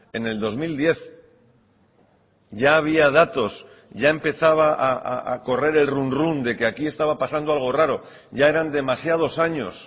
en el dos mil diez ya había datos ya empezaba a correr el run run de que aquí estaba pasando algo raro ya eran demasiados años